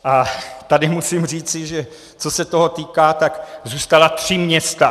A tady musím říci, že co se toho týká, tak zůstala tři města.